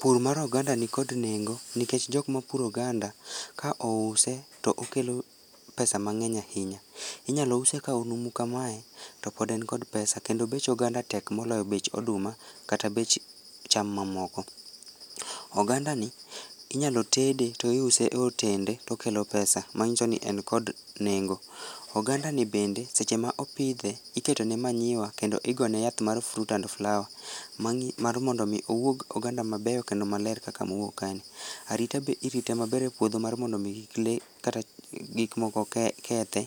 Pur mar oganda nikod nengo nikech jokma puro oganda ka ouse to okelo pesa mang'eny ahinya. Inyalo use ka onumu kamae kendo pod en kod pesa, kendo bech oganda tek moloyo bech oduma kata bech cham mamoko. Oganda ni inyalo tede to iuse e otende to okelo pesa manyso ni en kod nengo. Oganda ni bende seche ma opidhe iketo ne manyiwa kendo igone yath mar fruit and flower mar mondo mi owuog oganda mabeyo kendo maler kaka mowuok kae ni. Arita be irite maber e puodho mondo kik lee kata gik moko kethe